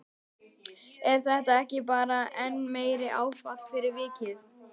Er þetta ekki bara enn meira áfall fyrir vikið?